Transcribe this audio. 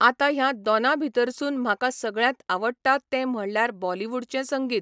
आतां ह्या दोनां भितरसून म्हाका सगळ्यांत आवडटा तें म्हणल्यार बॉलीवुडचें संगीत.